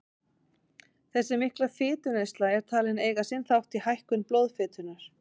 Þessi mikla fituneysla er talin eiga sinn þátt í hækkun blóðfitunnar.